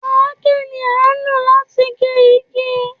Àáké ni à ń lò láti gé igi